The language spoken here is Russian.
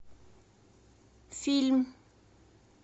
фильм